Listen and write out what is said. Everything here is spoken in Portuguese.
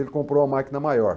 Ele comprou uma máquina maior.